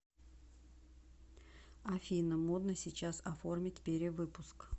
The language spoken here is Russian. афина модно сейчас оформить перевыпуск